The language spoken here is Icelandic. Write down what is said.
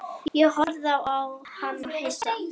Ég horfði á hana hissa.